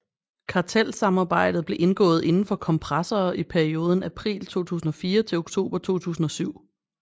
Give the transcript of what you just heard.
Kartelsamarbejdet blev indgået indenfor kompressorer i perioden april 2004 til oktober 2007